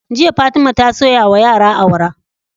Jiya fatima ta soya wa yara awara